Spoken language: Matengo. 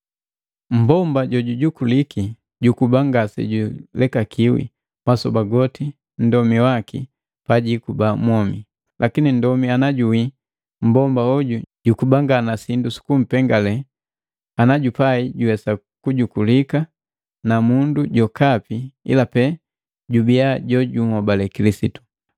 Mmbomba jojujukuliki jukuba ngasejulekakiwi masoba goti nndomi waki pajikuba mwomi. Lakini nndomi najuwii, mmbomba hoju jukuba nga na sindu sukumpengale ana jupai juwesa kutoguleka na mundu jokapi ila pee jubiya jojunhobale Kilisitu.